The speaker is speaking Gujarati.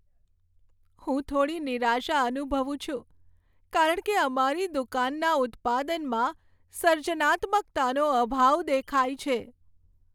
હું થોડી નિરાશા અનુભવું છું કારણ કે અમારી દુકાનના ઉત્પાદનમાં સર્જનાત્મકતાનો અભાવ દેખાય છે.